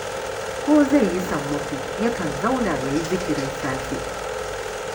Ko zai yi sammako, yakan zauna ya yi zikirin safe